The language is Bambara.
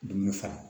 Dumuni faga